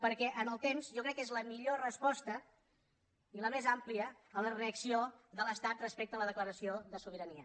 perquè en el temps jo crec que és la millor resposta i la més àmplia a la reacció de l’estat respecte a la declaració de sobirania